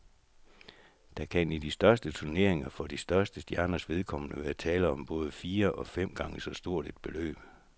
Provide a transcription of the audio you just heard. Der kan i de største turneringer for de største stjerners vedkommende være tale om både fire og fem gange så stort et beløb.